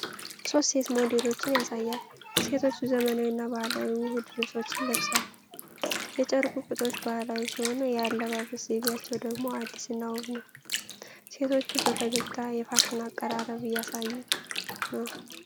ሦስት ሴት ሞዴሎችን ያሳያል። ሴቶቹ ዘመናዊና ባህላዊ ውህድ ልብሶችን ለብሰዋል። የጨርቁ ቅጦች ባህላዊ ሲሆኑ የአለባበስ ዘይቤያቸው ደግሞ አዲስና ውብ ነው። ሴቶቹ በፈገግታ የፋሽን አቀራረብ እያሳዩ ነው።